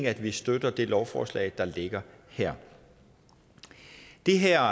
at vi støtter det lovforslag der ligger her det her